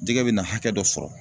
Jɛgɛ bɛ na hakɛ dɔ sɔrɔ